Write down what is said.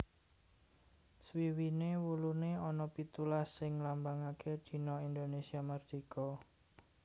Swiwiné wuluné ana pitulas sing nglambangaké dina Indonésia mardika